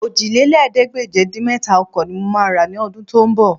Òjìlélẹ́ẹ̀ẹ́dégbèje-dín-mẹ́ta ọkọ̀ ní mo máa rà ní ọdún tó ń bọ̀